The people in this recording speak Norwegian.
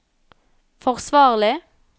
forsvarlig